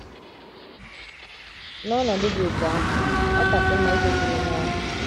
N’ọnọdụ dị otú ahụ, ọ kasị mma ijekwuru onye ahụ.